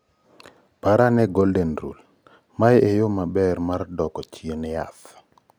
par ane"Golden Rule" mae e yo maber mar doko chien jaath